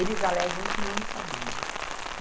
Eles alegam que não sabiam.